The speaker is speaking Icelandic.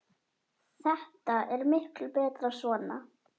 Þetta er miklu betra svona.